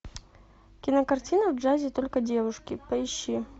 кинокартина в джазе только девушки поищи